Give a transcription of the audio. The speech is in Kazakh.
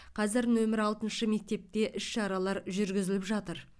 қазір нөмірі алтыншы мектепте іс шаралар жүргізіліп жатыр